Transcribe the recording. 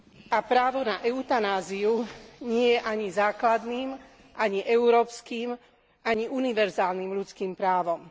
A právo na eutanáziu nie je ani základným, ani európskym, ani univerzálnym ľudským právom.